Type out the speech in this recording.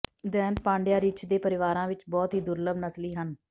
ਦੈਤ ਪਾਂਡਿਆਂ ਰਿੱਛ ਦੇ ਪਰਿਵਾਰਾਂ ਵਿਚ ਬਹੁਤ ਹੀ ਦੁਰਲੱਭ ਨਸਲੀ ਹਨ